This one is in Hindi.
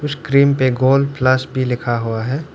क्रीम पे गोल्ड प्लस भी लिखा हुआ है।